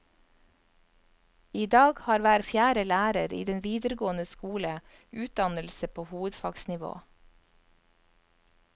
I dag har hver fjerde lærer i den videregående skole utdannelse på hovedfagsnivå.